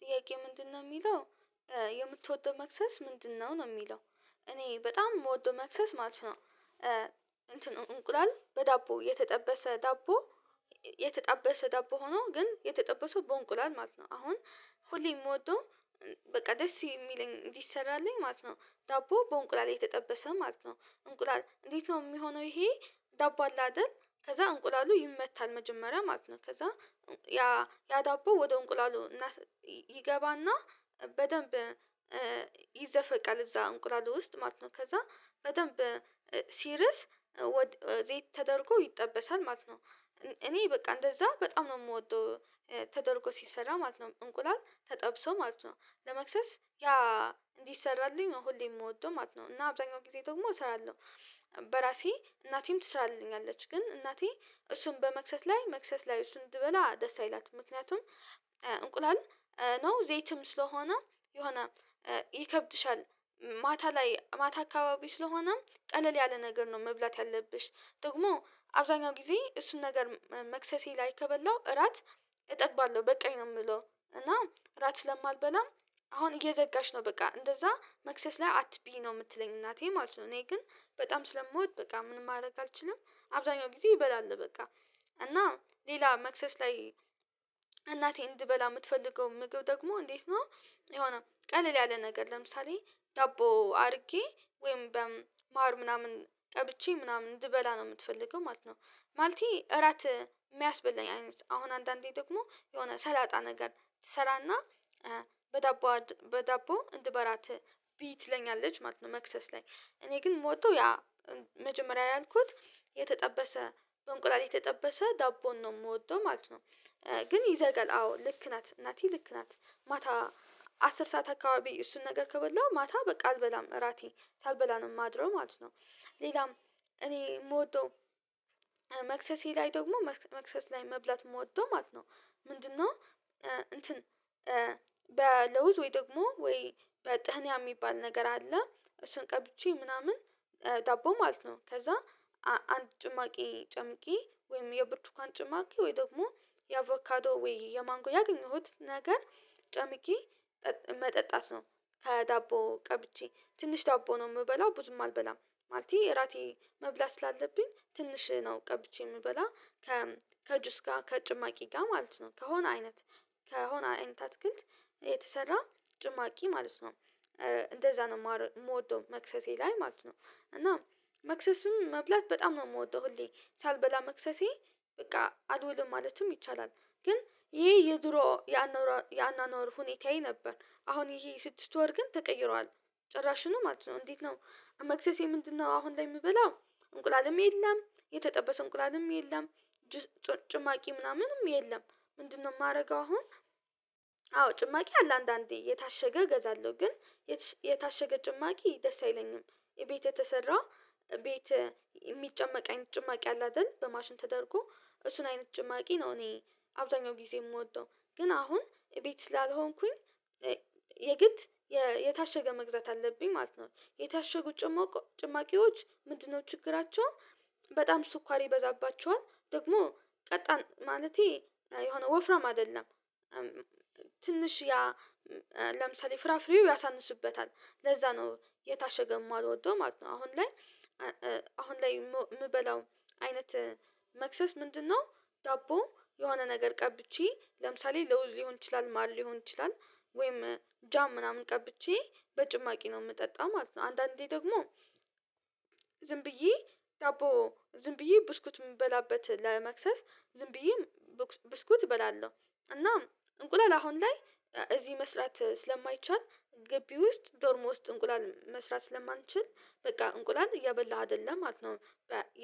ጥያቄው ምንድነው የሚለው የምትወደው መክሰስ ምንድነው ነው የሚለው? እኔ በጣም የምወደው መክሰስ ማለት ነው። እንቁላል በዳቦ የተጠበሰ ዳቦ። የተጠበሰ ዳቦ ሆኖ ግን የተጠበሰው በእንቁላል ማለት ነው። አሁን ሁሌም ምወደው በቃ ደስ የሚለኝ እንዲሰራልኝ ማለት ነው። ዳቦ በእንቁላል የተጠበሰ ማለት ነው እንቁላል እንዴት ነው የሚሆነው ይሄ? ዳቦ አለ አይደል ከዛ እንቁላሉ ይመታል መጀመሪያ ማለት ነው። ከዛ ያ ያ ዳቦ ወደ እንቁላሉ ይገባና በደንብ ይዘፈቃል እዛ እንቁላሉ ውስጥ ማለት ነው። ከዛ በደንብ ሲርስ ወደ ዘይት ተደርጎ ይጠበሳል ማለት ነው። እኔ በቃ እንደዛ በጣም ነው የምወደው። ተደርጎ ሲሰራ ማለት ነው እንቁላል ተጠብሶ ማለት ነው። ለመክሰስ ያ እንዲሰራልኝ ነው ሁሌ የምወደው ማለት ነው። እና አብዛኛው ጊዜ ደግሞ እሰራለሁ። በራሴ እናቴም ትሰራልኛለች ግን እናቴ እሱን በመክሰስ ላይ መክሰስ ላይ እሱን እንድበላ ደስ አይላትም። ምክንያቱም እንቁላል ነው ዘይትም ስለሆነ የሆነ ይከብድሻል። ማታ ላይ ማታ አካባቢ ስለሆነ ቀለል ያለ ነገር ነው መብላት ያለብሽ። ደግሞ አብዛኛው ጊዜ እሱን ነገር መክሰሴ ላይ ከበላው እራት እጠግባለሁ በቃኝ ነው የምለው። እና እራት ስለማልበላም አሁን እየዘጋሽ ነው በቃ እንደዛ መክሰስ ላይ አትቢ ነው የምትለኝ እናቴ ማለት ነው። እኔ ግን በጣም ስለሞት በቃ ምንም ማድረግ አልችልም። አብዛኛው ጊዜ እበላለው በቃ። እና ሌላ መክሰስ ላይ እናቴ እንድበላ የምትፈልገው ምግብ ደግሞ እንዴት ነው? የሆነ ቀለል ያለ ነገር ለምሳሌ ዳቦ አድርጌ ወይም በማር ምናምን ቀብቼ ምናምን እንድበላ ነው የምትፈልገው ማለት ነው። ማለቴ እራት የሚያስበላኝ አይነት አሁን አንዳንዴ ደግሞ የሆነ ሰላጣ ነገር ትሰራና በዳቦ በዳቦ እንድበራት ቢዪ ትለኛለች ማለት ነው። መክሰስ ላይ እኔ ግን የምወደው ያ መጀመሪያ ያልኩት የተጠበሰ በእንቁላል የተጠበሰ ዳቦን ነው የምወደው ማለት ነው። ግን ይዘጋል አዎ ልክ ናት እናቴ ልክ ናት ማታ አስር ሰዓት አካባቢ እሱን ነገር ከበላው ማታ በቃ አልበላም እራቴ ሳልበላ ነው ማድረው ማለት ነው። ሌላም እኔ የምወደው መክሰሴ ላይ ደግሞ መክሰስ ላይ መብላት የምወደው ማለት ነው። ምንድነው? እንትን በለውዝ ወይ ደግሞ ወይ በጥንያ የሚባል ነገር አለ እሱን ቀብቼ ምናምን ዳቦ ማለት ነው። ከዛ አንድ ጭማቂ ጨምቄ ወይም የብርቱካን ጭማቂ ወይ ደግሞ የአቮካዶ ወይ የማንጎ ያገኘሁት ነገር ጨምቄ መጠጣት ነው። ከዳቦ ቀብቼ ትንሽ ዳቦ ነው የምበላው ብዙም አልበላም። ማለቴ እራቴ መብላት ስላለብኝ ትንሽ ነው ቀብቼ የምበላ። ከጁስ ጋር ከጭማቂ ጋር ማለት ነው ከሆነ አይነት ከሆነ አይነት አትክልት የተሰራ ጭማቂ ማለት ነው። እንደዛ ነው የምወደው መክሰሴ ላይ ማለት ነው። እና መክሰሱም መብላት በጣም ነው የምወደው ሁሌ ሳልበላ መክሰሴ በቃ አልውልም ማለትም ይቻላል። ግን ይሄ የድሮ ያኗነኗር ሁኔታዬ ነበር። አሁን ይሄ ስድስት ወር ግን ተቀይሯል። ጭራሹኑ ማለት ነው እንዴት ነው? መክሰሴ ምንድነው አሁን ላይ የምበላው እንቁላልም የለም የተጠበሰ እንቁላልም የለም። ጭማቂ ምናምንም የለም። ምንድነው የማደርገው አሁን? አዎ ጭማቂ አለ አንዳንዴ የታሸገ እገዛለሁ ግን የታሸገ ጭማቂ ደስ አይለኝም። እቤት የተሰራ ቤት የሚጨመቅ አይነት ጭማቂ አለ አይደል በማሽን ተደርጎ እሱን አይነት ጭማቂ ነው። እኔ አብዛኛው ጊዜ የምወደው ግን አሁን ቤት ስላልሆንኩኝ የግድ የታሸገ መግዛት አለብኝ ማለት ነው። የታሸጉ ጭማቂዎች ምንድነው ችግራቸው? በጣም ስኳር ይበዛባቸዋል ደግሞ ቀጣን ማለቴ የሆነ ወፍራም አይደለም። ትንሽ ያ ለምሳሌ ፍራፍሬው ያሳንሱበታል ለዛ ነው የታሸገው የማልወደው ማለት ነው። አሁን ላይ አሁን ላይ የምበላው አይነት መክሰስ ምንድነው? ዳቦ የሆነ ነገር ቀብቼ ለምሳሌ ለውዝ ሊሆን ይችላል ማር ሊሆን ይችላል ወይም ጃም ምናምን ቀብቼ በጭማቂ ነው የምጠጣው ማለት ነው። አንዳንዴ ደግሞ ብዬ ዳቦ ዝም ብዬ ብስኩት የምበላበት ለመክሰስ ዝም ብዬ ብስኩት እበላለሁ። እና እንቁላል አሁን ላይ እዚህ መስራት ስለማይቻል ገቢ ውስጥ ዶርም ውስጥ እንቁላል መስራት ስለማንችል በቃ እንቁላል እያበላሁ አይደለም ማለት ነው።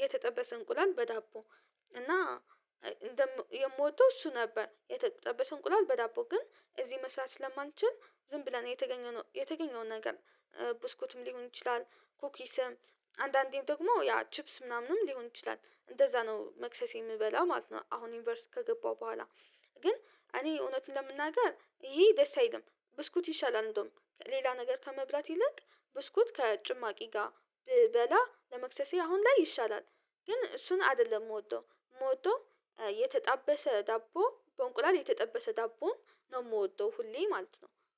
የተጠበሰ እንቁላል በዳቦ። እና የምወደው እሱ ነበር የተጠበሰ እንቁላል በዳቦ ግን እዚህ መስራት ስለማንችል። ዝም ብለን የተገኘው የተገኘውን ነገር ብስኩትም ሊሆን ይችላል። ኩኪስም አንዳንዴም ደግሞ ያ ቺፕስ ምናምንም ሊሆን ይችላል እንደዛ ነው መክሰስ የምበላ ማለት ነው። አሁን ዩኒቨርሲቲ ከገባው በኋላ ግን እኔ እውነቱን ለመናገር ይሄ ደስ አይልም። ብስኩት ይሻላል እንደውም ሌላ ነገር ከመብላት ይልቅ ብስኩት ከጭማቂ ጋር ብበላ ለመክሰሴ አሁን ላይ ይሻላል። ግን እሱን አይደለም የምወደው የምወደው የተጣበሰ ዳቦ በእንቁላል የተጠበሰ ዳቦ ነው የምወደው ሁሌ ማለት ነው